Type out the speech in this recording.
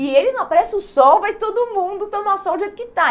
E eles, não. Aparece o sol, vai todo mundo tomar sol do jeito que está.